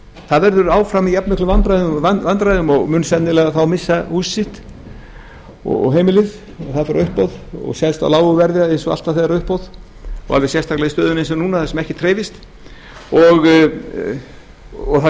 það verður áfram í allmiklum vandræðum og mun sennilega missa hús sitt og heimili og það fer á uppboð og selst á lágu verði eins og alltaf þegar það er uppboð og alveg sérstaklega í stöðunni eins og núna þar sem ekkert hreyfist og það